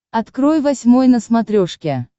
открой восьмой на смотрешке